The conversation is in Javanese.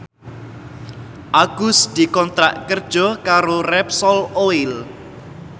Agus dikontrak kerja karo Repsol Oil